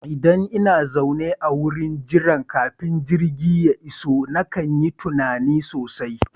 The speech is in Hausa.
Idan ina zaune a wurin jira kafin jirgi ya iso nakan yi tunani sosai